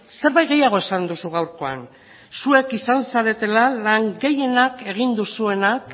zerbait gehiago esan duzu gaurkoan zuek izan zaretela lan gehienak egin duzuenak